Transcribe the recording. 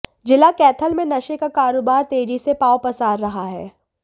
जिला कैथल में नशे का कारोबार तेजी से पांव पसार रहा है